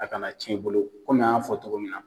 A ka na ciɲɛ i bolo , an y'a fɔ cogo min na